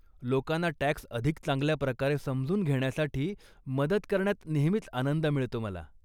लोकांना टॅक्स अधिक चांगल्या प्रकारे समजून घेण्यासाठी मदत करण्यात नेहमीच आनंद मिळतो मला.